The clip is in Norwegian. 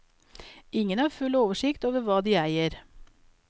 Ingen har full oversikt over hva de eier.